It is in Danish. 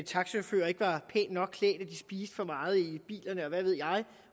taxachauffører ikke var pænt nok klædte at de spiste for meget i bilerne og hvad ved jeg